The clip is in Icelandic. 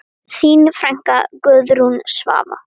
Þín frænka, Guðrún Svava.